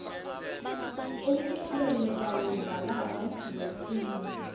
umculo lebawudlalako wesintfu